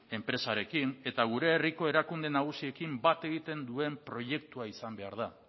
enpresarekin eta gure herriko erakunde nagusiekin bat egiten duen proiektua izan behar da